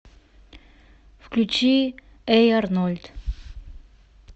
включи эй арнольд